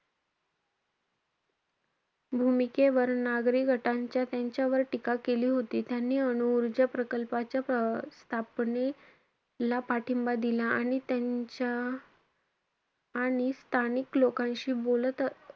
भूमिकेवर नागरी गटांच्या त्यांच्यावर टीका केली होती. त्यांनी अनु ऊर्जा प्रकल्पाच्या प्र~ स्थापनेला पाठिंबा दिला आणि त्यांच्या आणि स्थानिक लोकांशी बोलत,